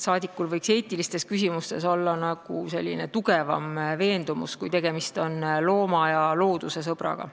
Saadikul võiks eetilistes küsimustes olla tugevam veendumus, kui tegemist on looma- ja loodusesõbraga.